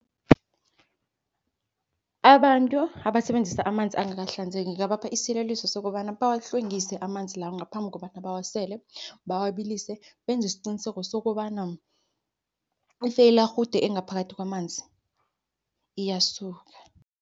Abantu abasebenzisa amanzi angakahlanzeki ngingabapha isiyeleliso sokobana, bawahlwengise amanzi lawo ngaphambi kobana bawasele. Bawabilise benze isqiniseko sokobana ifeyilarhude engaphakathi kwamanzi iyasuka.